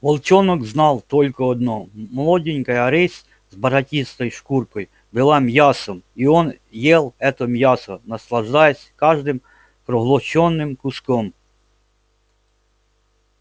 волчонок знал только одно молоденькая рысь с бархатистой шкуркой была мясом и он ел это мясо наслаждаясь каждым проглоченным куском